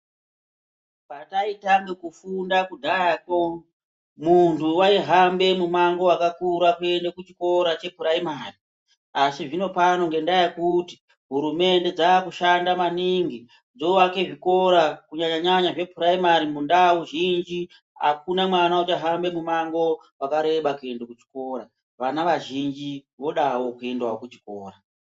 Pandaitange kufunda kudhayakwo, muntu waihambe mumango wakakura kuende kuchikora chepuraimari, asi zvinopano ngendaa yekuti hurumende dzoshanda maningi dzoake zvikora kunyanya zvepuraimari mundau zhinji akuna mwana uchahamba mumango wakareba kuenda kuchikora. Vana vazhinji vodawo kuenda kuchikora.